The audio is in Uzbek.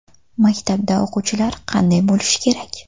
Maktabda o‘quvchilar qanday bo‘lishi kerak?